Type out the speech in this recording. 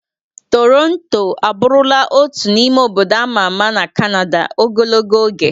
Toronto abụrụla otu n'ime obodo ama ama na kanada ogologo oge.